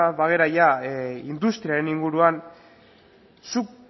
bagara industriaren inguruan zuk